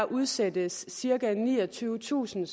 udsættes cirka niogtyvetusind